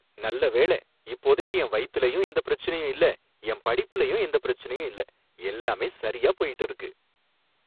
நல்ல வேளை! இப்போதைக்கு என் வயித்துலயும் எந்தப் பிரச்சினையும் இல்லை, என் படிப்புலயும் எந்தப் பிரச்சனையும் இல்ல, எல்லாமே சரியா போயிட்டு இருக்கு